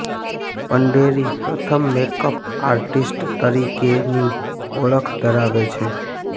પંઢેરી પ્રથમ makeup artist તરીકેની ઓળખ ધરાવે છે